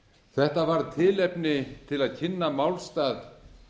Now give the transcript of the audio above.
þetta var tilefni til að kynna málstað